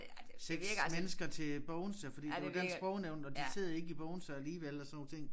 6 mennesker til Bogense fordi det var Dansk Sprognævn og de sidder ikke i Bogense alligevel og sådan nogle ting